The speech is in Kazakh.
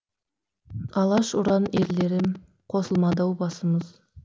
алаш ұран ерлерім қосылмады ау басымыз